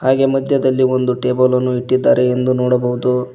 ಹಾಗೆ ಮದ್ಯದಲ್ಲಿ ಒಂದು ಟೇಬಲ್ ನ್ನು ಇಟ್ಟಿದ್ದಾರೆ ಎಂದು ನೋಡಬಹುದು.